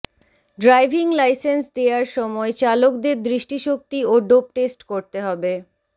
driving licence দেয়ার সময় চালকদের দৃষ্টিশক্তি ও ডোপ টেস্ট করতে হবে